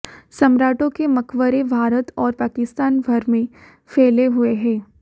सम्राटों के मकबरे भारत और पाकिस्तान भर में फैले हुए हैं